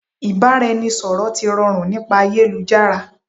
Ìbáraẹniṣọ̀rọ̀ ti rọrùn nípa ayélujára